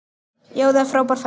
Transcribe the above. Það er frábær fæða.